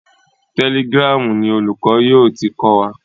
Telegram ni olùkọ́ yóò ti kọ́ wa.